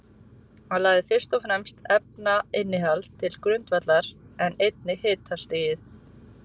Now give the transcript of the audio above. Hann lagði fyrst og fremst efnainnihaldið til grundvallar, en einnig hitastigið.